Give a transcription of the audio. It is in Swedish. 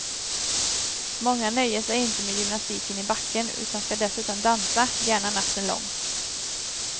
Många nöjer sig inte med gymnastiken i backen utan skall dessutom dansa, gärna natten lång.